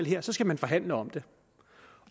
her skal man forhandle om det